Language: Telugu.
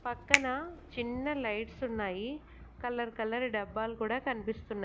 పక్కన చిన్న లైట్స్ ఉన్నాయి కలర్ కలర్ డబ్బాలు కూడా కనిపిస్తున్నాయి.